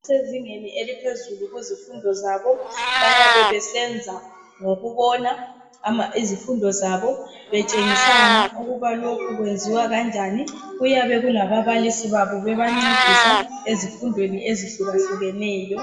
Kusezingeni eliphezulu kuzifundo zabo bayabe besenza ngokubona izifundo zabo betshengisana ukuba lokhu kwenziwa kanjani kuyabe kulababalisi babo bebancedisa ezifundweni ezihlukahlukeneyo.